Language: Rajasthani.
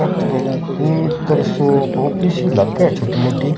ओ तो कोई एक तरह से ऑफिस ही लागे है छोटी मोटी।